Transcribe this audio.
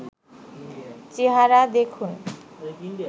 চেহারা দেখুন